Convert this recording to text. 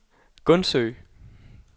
Gundsø